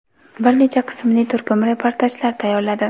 bir necha qismli turkum reportajlar tayyorladi.